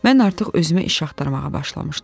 Mən artıq özümə iş axtarmağa başlamışdım.